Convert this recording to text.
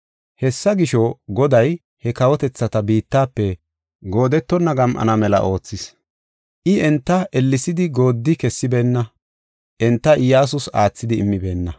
Hessa gisho, Goday he kawotethati biittafe goodetonna gam7ana mela oothis. I enta ellesidi gooddi kessibeenna; enta Iyyasus aathidi immibeenna.